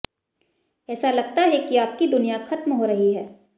ऐसा लगता है कि आपकी दुनिया खत्म हो रही है